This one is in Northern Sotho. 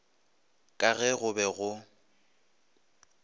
ka ge go be go